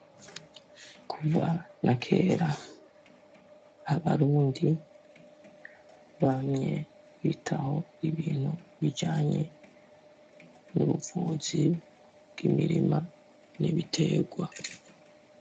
Kuva na kera abarundi bamye bitaho ibintu bijanye n'ubuvuzi bw'imirima n'ibiterwa.